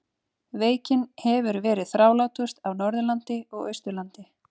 Veikin hefur verið þrálátust á Norðurlandi og Austurlandi.